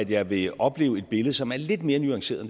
jeg vil opleve et billede som er lidt mere nuanceret